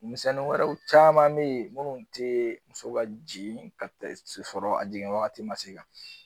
misɛnnin wɛrɛw caman mɛ ye minnu tɛ muso ka jigin ka sɔrɔ a jigin wagati man se ka